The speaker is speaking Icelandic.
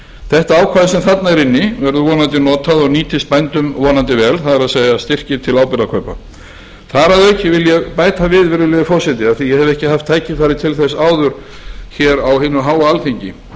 þetta ákvæði sem þarna er inni verður vonandi notað og nýtist bændum vonandi vel það er styrkir til áburðarkaupa þar að auki vil ég bæta við virðulegi forseti af því að ég hef ekki haft tækifæri til þess áður á hinu háa alþingi